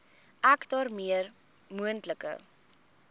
ek daarmee moontlike